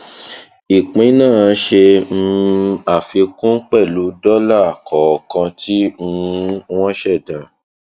ìpín náà ṣe um àfikún pẹlú dọlà kọọkan tí um wọn ṣẹdá